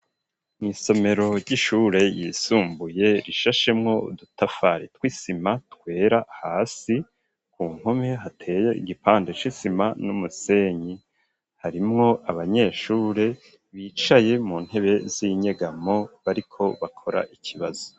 Mw'isomero ry'ishure yisumbuye rishashemwo udutafari tw'isima twera hasi ku mpome hateye igipande c'isima n'umusenyi harimwo abanyeshure bicaye mu ntebe z'inyegamo bariko bakora ikibazo.